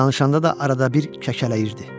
Danışanda da arada bir kəkələyirdi.